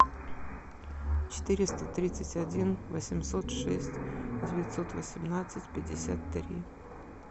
четыреста тридцать один восемьсот шесть девятьсот восемнадцать пятьдесят три